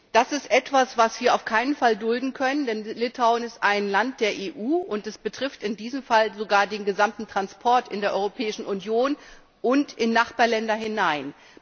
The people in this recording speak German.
Das ist etwas, was wir auf keinen Fall dulden können, denn Litauen ist ein Land der EU, und es betrifft in diesem Fall sogar den gesamten Transport in der Europäischen Union und in Nachbarländer hinein.